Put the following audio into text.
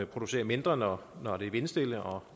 producerer mindre når det er vindstille og